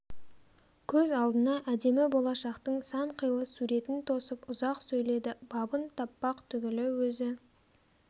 көз алдына әдемі болашақтың санқилы суретін тосып ұзақ сөйледі бабын таппақ түгілі өзі